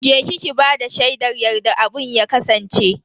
Je ki ki bada shaidar yadda abun ya kasance.